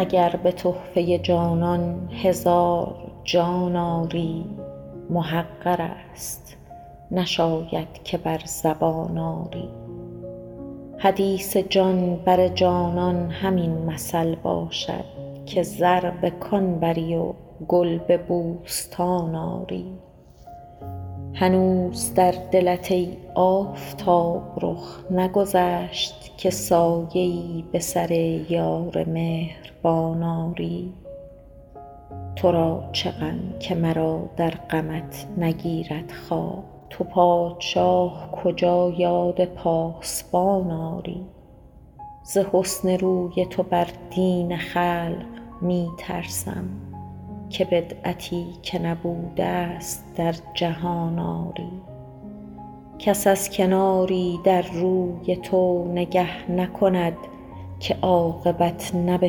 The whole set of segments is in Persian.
اگر به تحفه جانان هزار جان آری محقر است نشاید که بر زبان آری حدیث جان بر جانان همین مثل باشد که زر به کان بری و گل به بوستان آری هنوز در دلت ای آفتاب رخ نگذشت که سایه ای به سر یار مهربان آری تو را چه غم که مرا در غمت نگیرد خواب تو پادشاه کجا یاد پاسبان آری ز حسن روی تو بر دین خلق می ترسم که بدعتی که نبوده ست در جهان آری کس از کناری در روی تو نگه نکند که عاقبت نه به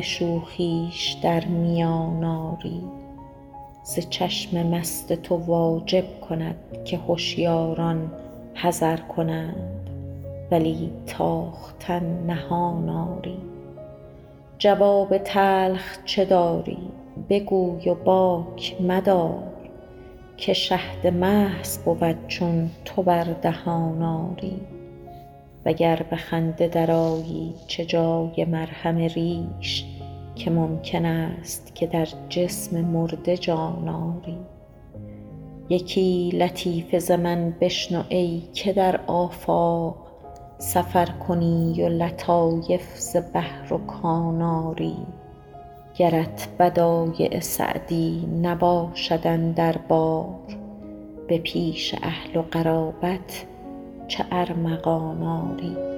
شوخیش در میان آری ز چشم مست تو واجب کند که هشیاران حذر کنند ولی تاختن نهان آری جواب تلخ چه داری بگوی و باک مدار که شهد محض بود چون تو بر دهان آری و گر به خنده درآیی چه جای مرهم ریش که ممکن است که در جسم مرده جان آری یکی لطیفه ز من بشنو ای که در آفاق سفر کنی و لطایف ز بحر و کان آری گرت بدایع سعدی نباشد اندر بار به پیش اهل و قرابت چه ارمغان آری